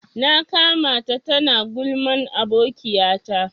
Na ƙamata ta na gulman abokiya ta.